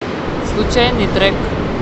случайный трек